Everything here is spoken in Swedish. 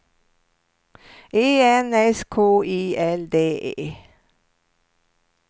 E N S K I L D E